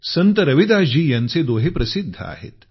संत रविदासजी यांचे दोहे प्रसिद्ध आहेत